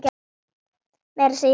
Meira að segja í vösum.